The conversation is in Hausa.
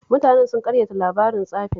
Mutanen sun ƙaryata labarin tsafin